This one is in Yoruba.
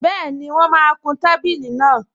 Bẹ́ẹ̀ni, wọ́n máa kun tábìlì náà